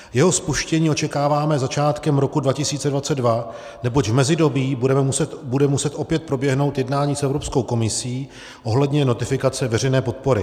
Jeho spuštění očekáváme začátkem roku 2022, neboť v mezidobí bude muset opět proběhnout jednání s Evropskou komisí ohledně notifikace veřejné podpory.